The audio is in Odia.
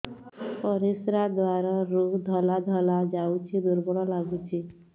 ପରିଶ୍ରା ଦ୍ୱାର ରୁ ଧଳା ଧଳା ଯାଉଚି ଦୁର୍ବଳ ଲାଗୁଚି